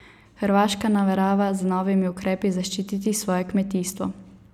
Hrvaška namerava z novimi ukrepi zaščititi svoje kmetijstvo.